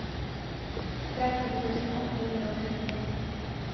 tretten tusen åtte hundre og sytti